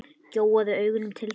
Gjóaði augunum til þeirra.